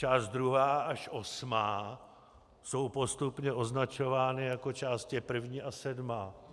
Část druhá až osmá jsou postupně označovány jako Část první až sedmá.